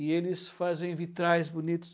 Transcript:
E eles fazem vitrais bonitos.